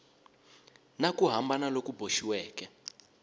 na ku hambana loku boxiweke